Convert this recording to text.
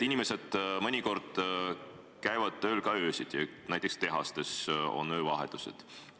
Inimesed käivad tööl ka öösiti, näiteks tehastes on öövahetused.